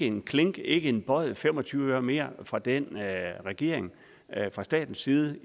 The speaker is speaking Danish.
en klink ikke en bøjet fem og tyve øre mere fra den regering fra statens side